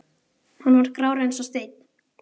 Hann var grár eins og steinn.